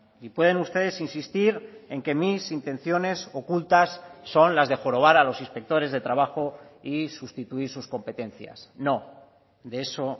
y pueden ustedes insistir en que mis intenciones ocultas son las de jorobar a los inspectores de trabajo y sustituir sus competencias no de eso